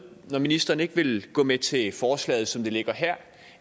når ministeren ikke vil gå med til forslaget som det ligger her